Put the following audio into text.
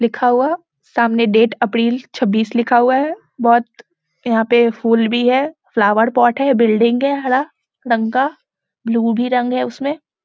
लिखा हुआ है सामने डेट अप्रिल छब्बीस लिखा हुआ है बहुत यहाँ पे फूल भी है फ्लावर पॉट है बिल्डिंग है हरा रंग का ब्लू भी रंग है उसमें।